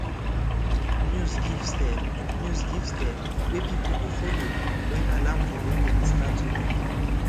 news give step news give step wey people go follow wen alarm for area start to ring